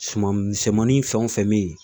Suma misɛnmanin fɛn o fɛn bɛ yen